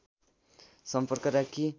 सम्पर्क राखी